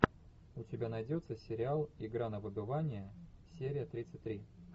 у тебя найдется сериал игра на выбывание серия тридцать три